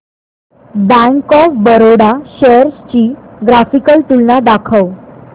bank of Baroda shares ची graphical तुलना दाखव